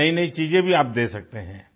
सी नईनई चीज़ें भी आप दे सकते हैं